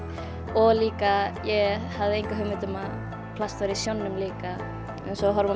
og líka ég hafði enga hugmynd um að plast væri í sjónum líka eins og í